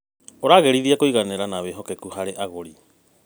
ũragĩrithia kũiganĩra na wĩhokeku wa agũri.